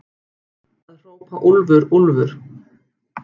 Að hrópa úlfur, úlfur